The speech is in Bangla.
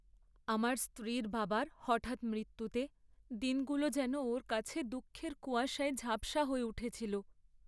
আমার স্ত্রীর বাবার হঠাৎ মৃত্যুতে দিনগুলো যেন ওর কাছে দুঃখের কুয়াশায় ঝাপসা হয়ে উঠেছিল।